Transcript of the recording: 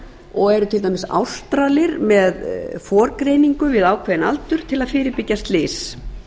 og eru til dæmis ástralir með forgreiningu við ákveðinn aldur til að fyrirbyggja slys